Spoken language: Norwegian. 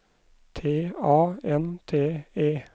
T A N T E